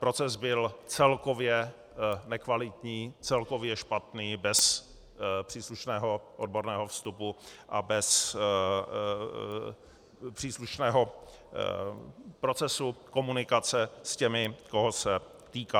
Proces byl celkově nekvalitní, celkově špatný, bez příslušného odborného vstupu a bez příslušného procesu komunikace s těmi, koho se týká.